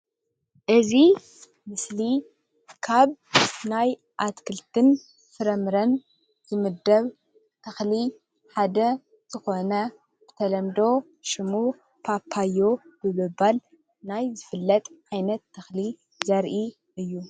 እዚ ምስሊ ካብናይ ኣትክልቲን ፍረምረን ዝምደብ ተኽሊ ሓደ ዝኾነ ብተለምዶ ሽሙ ፓፓዮ ብምባል ናይ ዝፍለጥ ዓይነት ተኽሊ ዘሪኢ እዩ።